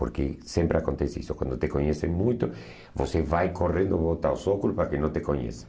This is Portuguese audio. Porque sempre acontece isso, quando te conhecem muito, você vai correndo voltar ao para que não te conheçam.